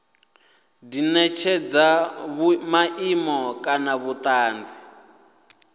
di netshedza maimo kana vhutanzi